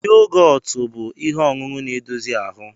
Yogotu bụ ihe ọṅụṅụ na-edozi ahụ